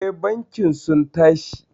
Eh bankin sun tashi.